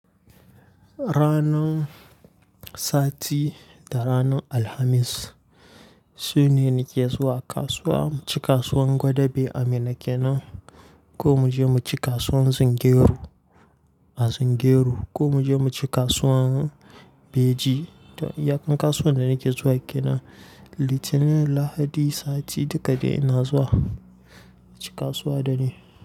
Ranar sati da ranar Alhamis shine nake zuwa kasuwa. Mu ci kasuwar Gwadabe a Minna kenan ko mu je mu ci kasuwar Zungeru a Zungeru ko mu je mu ci kasuwar Beji. To iyaƙar kasuwar da nake zuwa kenan Litinin, Lahadi, sati duka dai ina zuwa aci kasuwa da ne.